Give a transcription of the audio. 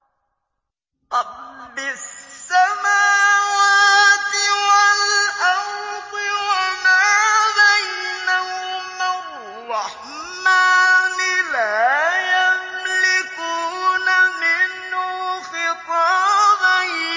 رَّبِّ السَّمَاوَاتِ وَالْأَرْضِ وَمَا بَيْنَهُمَا الرَّحْمَٰنِ ۖ لَا يَمْلِكُونَ مِنْهُ خِطَابًا